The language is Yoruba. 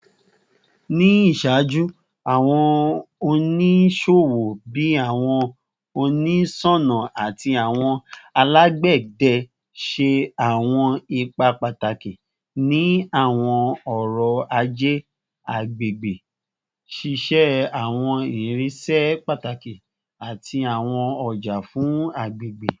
Ni iṣaaju, awọn oniṣowo bii awọn oniṣọna ati awọn alagbẹdẹ ṣe awọn ipa pataki ni awọn ọrọ-aje agbegbe, ṣiṣe awọn irinṣẹ pataki ati awọn ọja fun agbegbe